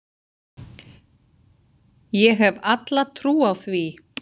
Ég hef alla trú á því.